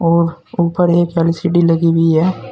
और ऊपर एक एल_सी_डी लगी हुई हैं।